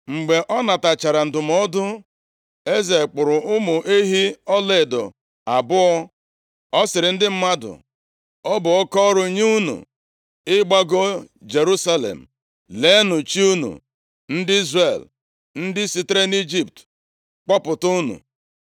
Mgbe ọ natachara ndụmọdụ, eze kpụrụ ụmụ ehi ọlaedo abụọ. Ọ sịrị ndị mmadụ, “Ọ bụ oke ọrụ nye unu ịgbago Jerusalem. Leenụ chi unu, ndị Izrel, ndị sitere nʼIjipt kpọpụta unu.”